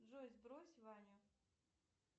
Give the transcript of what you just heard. джой сбрось ваню